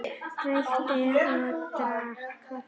Reykti og drakk kaffi.